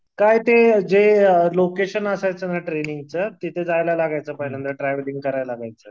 काय ते जे लोकेशन असायचं ना ट्रेनिंगचं तिथे जायला लागायचं पहिल्यांदा ट्रॅव्हलिंग करायला लागायचं.